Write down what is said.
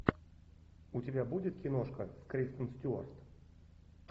у тебя будет киношка кристен стюарт